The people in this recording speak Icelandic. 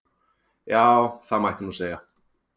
Já, það mætti nú segja.